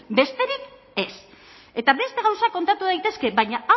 besterik ez eta beste gauzak kontatu daitezke baina hau